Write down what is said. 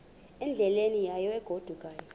endleleni yayo egodukayo